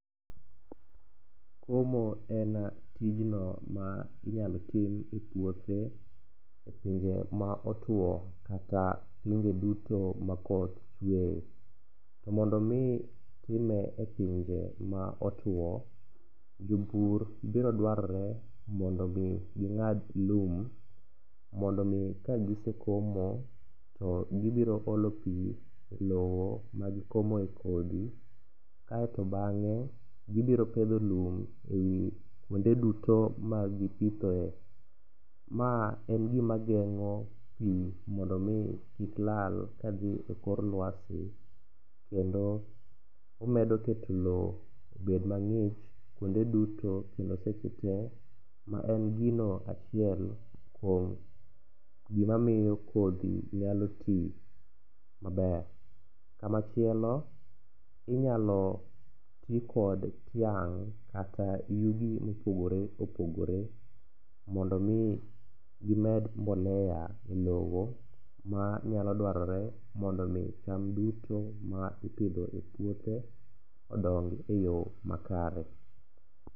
Komo en tijno ma inyalo tim e puothe e pinje ma otwo kata pinje duto ma koth chweye. To mondo omi time e pinje ma otwo, jopur birodwarore mondo omi ging'ad lum mondo omi kagisekomo to kibiroolo pi e lowo magikomoe kodhi kaeto bang'e gibiro pedho lum e i kuonde duto magipithoe. Ma en gimageng'o pi mondo omi kik lal kadhi e kor lwasi kendo omedo keto lowo obed mang'ich kuonde duto kendo seche te maen gino achiel kuom gimamiyo kodhi nyalo ti maber. Kamachielo, inyalo tikod tiang' kata yugi mopogore opogore mondo omi gimed mbolea e lowo manyalo dwarore mondo omi cham duto ma ipidho e puothe odong e yo makare.